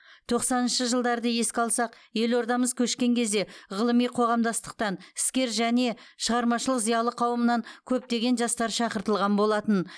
тоқсаныншы жылдарды еске алсақ елордамыз көшкен кезде ғылыми қоғамдастықтан іскер және шығармашылық зиялы қауымнан көптеген жастар шақыртылған болатын